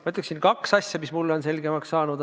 Ma ütleksin kaks asja, mis mulle on selgemaks saanud.